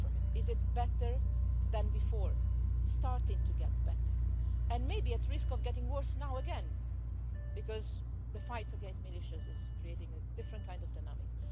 Is it better than before? Starting to get better and may be at risk of getting worse now again, because the fight against militias is creating a different kind of dynamic.